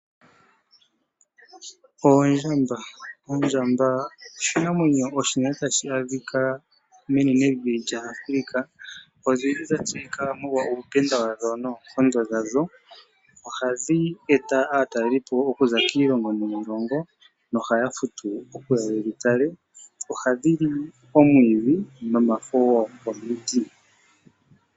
Ondjamba oshinamwenyo hashi adhika menenevi la Africa. Odhili dha tseyika molwa uupenda wadho noonkondo dhadho. Ohadhi eta aatalelipo okuza kiilongo niilongo nohaya futu opo yedhi tale. Ohadhi li omwiidhi nomafo gomiti.